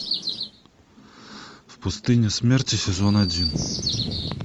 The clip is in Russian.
в пустыне смерти сезон один